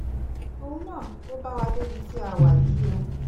òun náà ló bá wa débi tí a wà yìí o